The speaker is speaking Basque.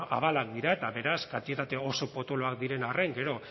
abalak dira eta beraz kantitate oso potoloak diren arren gero